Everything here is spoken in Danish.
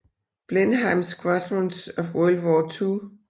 Blenheim Squadrons of World War II